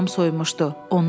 Bədəni tamam soyumuşdu.